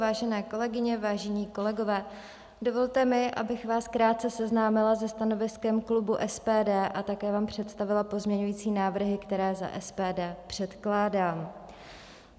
Vážené kolegyně, vážení kolegové, dovolte mi, abych vás krátce seznámila se stanoviskem klubu SPD a také vám představila pozměňovací návrhy, které za SPD předkládám.